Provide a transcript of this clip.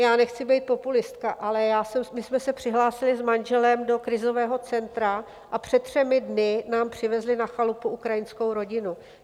Já nechci být populistka, ale my jsme se přihlásili s manželem do krizového centra a před třemi dny nám přivezli na chalupu ukrajinskou rodinu.